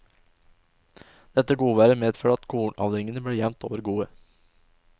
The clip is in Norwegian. Dette godværet medførte at kornavlingene ble jevnt over gode.